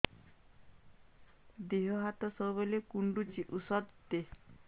ଦିହ ହାତ ସବୁବେଳେ କୁଣ୍ଡୁଚି ଉଷ୍ଧ ଦେ